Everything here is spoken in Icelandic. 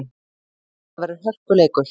Þetta verður hörkuleikur!